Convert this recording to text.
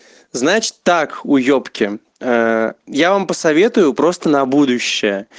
значит так уебки я вам посоветую просто на будущее